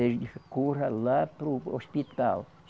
Corra lá para o hospital.